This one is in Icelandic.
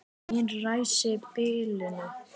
Mín ræsi biluðu ekki.